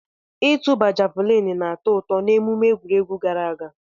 Ịtụba javuliini na-atọ ụtọ n'emume egwuregwu gara aga.